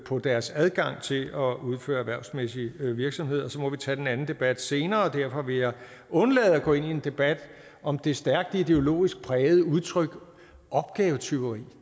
på deres adgang til at udføre erhvervsmæssig virksomhed så vi må tage den anden debat senere derfor vil jeg undlade at gå ind i en debat om det stærkt ideologisk prægede udtryk opgavetyveri